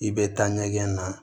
I bɛ taa ɲɛgɛn na